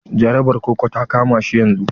Jarabar koko ta kama shi yanzun.